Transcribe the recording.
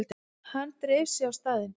Hann dreif sig á staðinn.